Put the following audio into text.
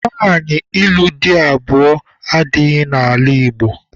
Nwaanyị ịlụ di abụọ adịghị n'ala Igbo